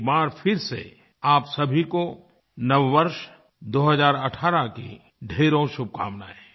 एक बार फिर से आप सभी को नववर्ष 2018 की ढ़ेरों शुभकामनाएँ